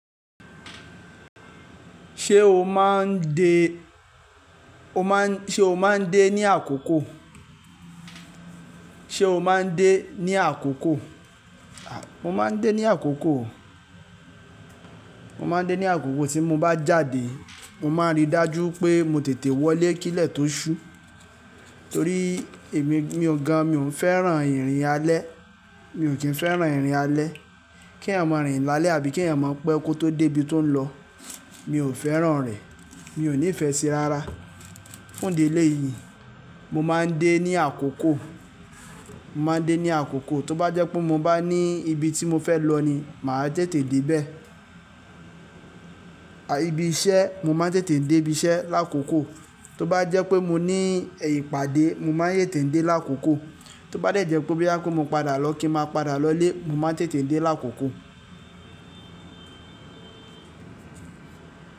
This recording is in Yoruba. Ṣé o máa ń de, ṣe o máa ń dé ní àkókò? Sé o máa ń dé ní àkókò? Mo máa ń dé ní àkókò, mo máa ń dé ní àkókò tí mo bá jáde. Mo máa ń ríi dájú pé mo tètè wọlé kílẹ̀ tó ṣú. Torí èmi gan, mi ò ki n fẹ́ràn ìrìn alẹ́. Mi ò kín fẹ́ràn ìrìn alẹ́. Ki ẹ̀yàn máa rìn lálẹ́ àbí kí ẹ̀yàn máa pẹ́ kó tó dé ibi tó ń lọ. Mi ò fẹ́ràn rẹ̀. Mi ò ní ìfẹ́ sí i rárá. Fún ìdí eléyìí, mo máa ń dé ní àkókò. Mo máa ń dé ní àkókò. Tóbá jẹ́ pé mo bá ní ibi tí mo fẹ́ lọ ni, màá tètè dé bẹ́ẹ̀. Ibi iṣẹ́, mo máa ń tètè dé ibi iṣẹ́ lákòókò. Tóbá jẹ́ pé mo ní ìpåde, mo máa ń tètè dé lákókò. Tóbá de jẹ́ pé boya bá pé mo padà lọ kí n máa padà lọlé, mo máa ń tètè dé lákòókò.